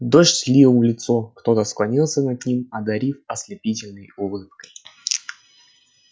дождь лил в лицо кто-то склонился над ним одарив ослепительной улыбкой